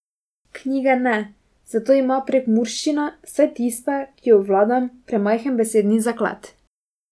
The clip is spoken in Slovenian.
Knjige ne, za to ima prekmurščina, vsaj tista, ki jo obvladam, premajhen besedni zaklad.